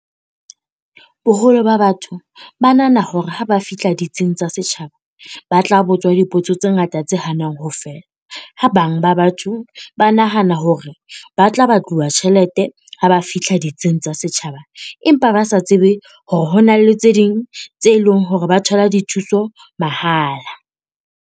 Boholo ba batho ba nahana hore ha ba fihla ditsing tsa setjhaba, ba tla botswa dipotso tse ngata tse hanang ho fela. Ha bang ba batho ba nahana hore hore ba tla batluwa tjhelete ha ba fihla ditsing tsa setjhaba, empa ba sa tsebe hore ho na le tse ding tse leng hore ba thola dithuso mahala.